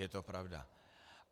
Je to pravda.